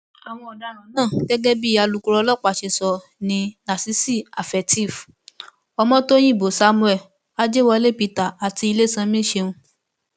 àwọn ọdaràn náà gẹgẹ bí alukoro ọlọpàá ṣe sọ ni lásìsí àfetéez ọmọtọyìnbó samuel ajẹwọlé peter àti ilésànmí ṣẹun